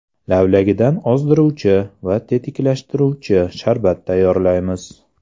Lavlagidan ozdiruvchi va tetiklashtiruvchi sharbat tayyorlaymiz.